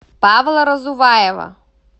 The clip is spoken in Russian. павла разуваева